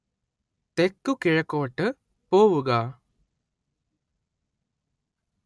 തെക്കുകിഴക്കോട്ട് പോവുക